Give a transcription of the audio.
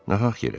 Nahaq yerə.